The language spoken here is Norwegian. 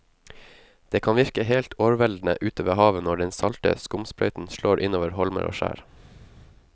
Det kan virke helt overveldende ute ved havet når den salte skumsprøyten slår innover holmer og skjær.